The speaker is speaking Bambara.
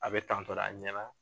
A be tantɔ de a ɲɛna